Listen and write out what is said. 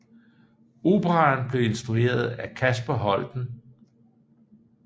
Operaen blev instrueret af Kasper Holten